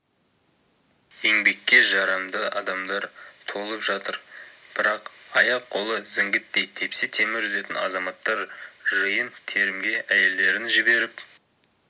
еңбекке жарамды адамдар толып жатыр бірақ аяқ-қолы зіңгіттей тепсе темір үзетін азаматтар жиын-терімге әйелдерін жіберіп